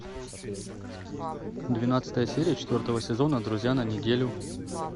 двенадцатая серия четвертого сезона друзья на неделю